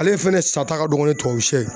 Ale fɛnɛ sata ka dɔgɔ ni tubabusɛ